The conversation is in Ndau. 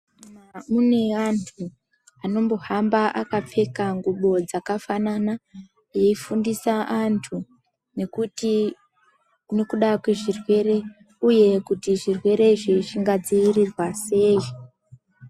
Kune antu anombohamba akapfeka ngubo dzakafanana eifundisa antu nekuda kwezvirwere uye kuti zvirwere izvi zvingadzivirirwa sei.